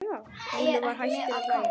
Lúlli var hættur að hlæja.